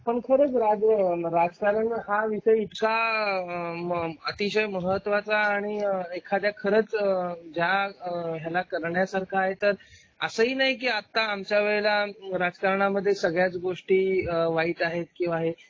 पण खरंच राजकारण हा विषय इतका अतिशय महत्त्वाचा आणि एखाद्या खरंच करण्यासारखा आहे तर असं ही नाही आता हळूहळू राजकारण मध्ये सगळ्याच गोष्टी वाईट आहेत कीं आहे